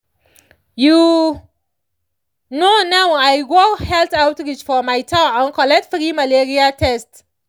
you know now i go health outreach for my town and collect free malaria test